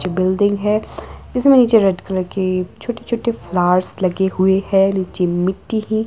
जो बिल्डिंग है इसमें नीचे रेड कलर की छोटे छोटे फ्लावर्स लगे हुए है नीचे मिट्टी है।